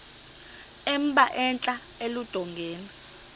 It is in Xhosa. emba entla eludongeni